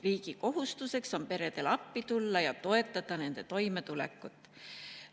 Riigi kohustus on peredele appi tulla ja toetada nende toimetulekut.